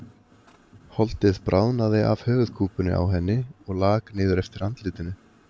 Holdið bráðnaði af höfuðkúpunni á henni og lak niður eftir andlitinu.